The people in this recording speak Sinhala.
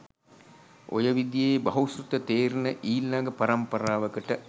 ඔය විදියේ බහුසෘත තේරෙන ඊළඟ පරම්පරාවකට